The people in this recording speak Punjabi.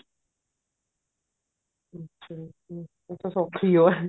ਅੱਛਾ ਹਮ ਉਹ ਤਾਂ ਸੋਖੀ ਓ ਹੈ